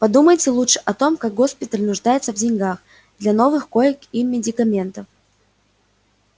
подумайте лучше о том как госпиталь нуждается в деньгах для новых коек и медикаментов